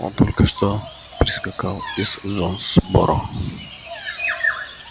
он только что прискакал из джонсборо